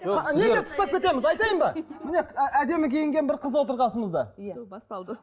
міне әдемі қиінген бір қыз отыр қасымызда басталды